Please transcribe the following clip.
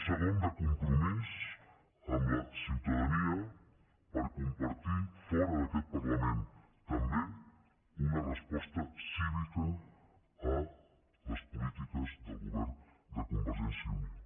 segon de compromís amb la ciutadania per compartir fora d’aquest parlament també una resposta cívica a les polítiques del govern de convergència i unió